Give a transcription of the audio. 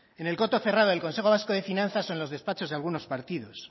en el coto cerrado del consejo vasco de finanzas o en los despachos de algunos partidos